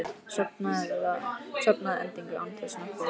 Sofna að endingu án þess að nokkur viti.